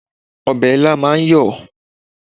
Ọbẹ̀ ilá máa ń yọ̀